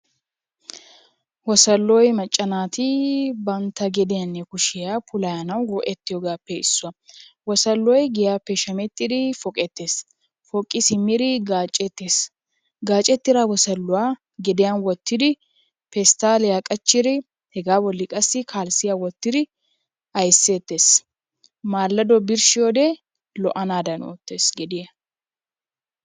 Wosolloy macca naati bantta gediyanne kushiya puulayanawu go'ettiyogaappe issuwa. Wosolloy giyaappe shamettidi poqettees poqqi simmidi gaacceettees gaacettida wosolluwa gediyan wottidi pesttaaliya qachchidi hegaa bolli qasdi kalissiya wottidi aysseettees. Maalladdo birshshiyode lo"anaadan oottees gediya.